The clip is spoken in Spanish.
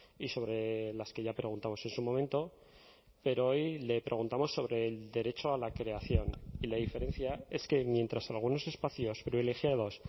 y sobre las que ya preguntamos en su momento pero hoy le preguntamos sobre el derecho a la creación y la diferencia es que mientras algunos espacios privilegiados